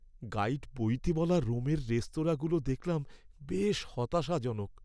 Guide বইতে বলা রোমের রেস্তোরাঁগুলো দেখলাম বেশ হতাশাজনক।